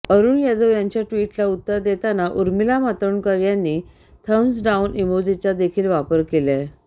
अरूण यादव यांच्या ट्विटला उत्तर देताना उर्मिला मातोंडकर यांनी थम्ब्स डाऊन इमोजीचा देखील वापर केलाय